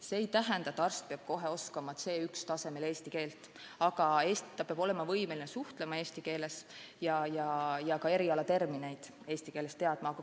See ei tähenda, et arst peab kohe oskama C1-tasemel eesti keelt, aga ta peab olema võimeline suhtlema eesti keeles ja ka erialatermineid eesti keeles teadma.